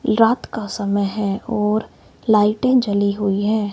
रात का समय है और लाइटें जली हुई है।